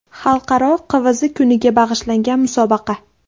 Xalqaro QVZ kuniga bag‘ishlangan musobaqa.